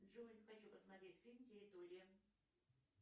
джой хочу посмотреть фильм территория